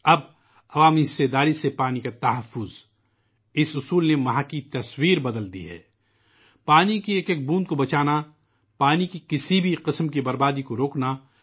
اب 'عوامی شراکت داری کے توسط سے آبی تحفظ' کے منتر نے وہاں کی تصویر ہی بدل کر رکھ دی ہے